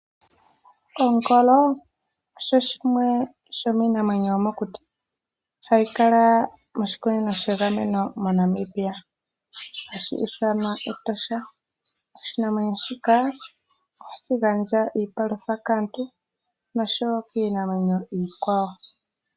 Ongolo oshi shimwe sho miinamwenyo yomokuti, oha yi kala moshikunino she gameno moNamibia, hashi iithanwa Etosha. Oshinamwenyo shika ohashi gandja iipalutha kaantu nosho wo kiinamwenyo iikwawo.